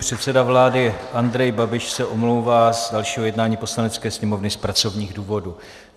Předseda vlády Andrej Babiš se omlouvá z dalšího jednání Poslanecké sněmovny z pracovních důvodů.